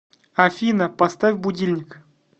афина поставь будильник